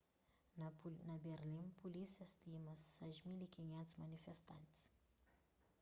na berlin pulísia stima 6.500 manifestantis